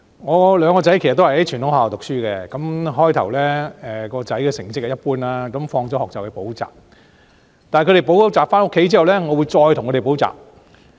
我兩個兒子其實都在傳統學校讀書，最初他們的成績一般，放學後便去補習，但他們補習回家後，我會再為他們補習。